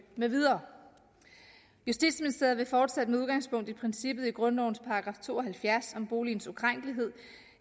med videre justitsministeriet vil fortsat med udgangspunkt i princippet i grundlovens § to og halvfjerds om boligens ukrænkelighed